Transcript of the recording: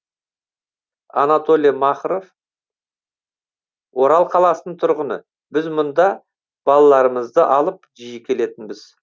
анатолий махров орал қаласының тұрғыны біз мұнда балаларымызды алып жиі келетінбіз